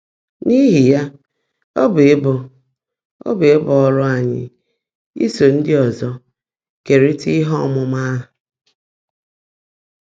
N’íhí yá, ọ́ bụ́ íbú ọ́ bụ́ íbú ọ́rụ́ ányị́ ísó ndị́ ọ́zọ́ keèrị́tá íhe ọ́mụ́má áhụ́.